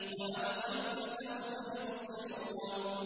وَأَبْصِرْ فَسَوْفَ يُبْصِرُونَ